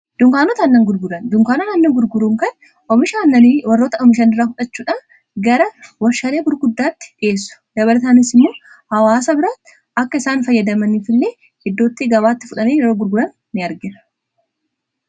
Dunkaanotaa nna gurguruun kan omishaannani warroota oomishan irraa fudhachuudha gara warsharee gurguddaatti dhiheessu .dabarataanisimoo hawaasa bira akka isaan fayyadamaniif illee iddootti gabaatti fudhanei yeroo gurguran in arge.